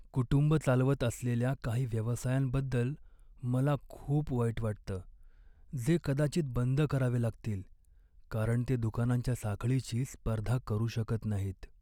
कुटुंबं चालवत असलेल्या काही व्यवसायांबद्दल मला खूप वाईट वाटतं, जे कदाचित बंद करावे लागतील कारण ते दुकानांच्या साखळीशी स्पर्धा करू शकत नाहीत.